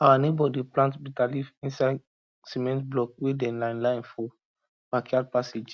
our neighbour dey plant bitterleaf inside cement block wey dem line line for backyard passage